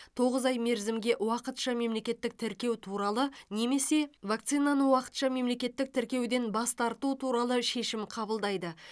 тоғыз ай мерзімге уақытша мемлекеттік тіркеу туралы немесе вакцинаны уақытша мемлекеттік тіркеуден бас тарту туралы шешім қабылдайды